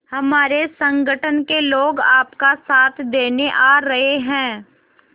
हमारे संगठन के लोग आपका साथ देने आ रहे हैं